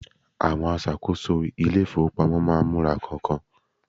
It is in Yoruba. awon asakoso ilé ifowopamọ ma n mura kan-kan